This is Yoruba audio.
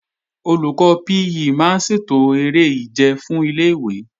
Olùkọ́ PE máa ń ṣètò eré ìje fún ilé-ìwé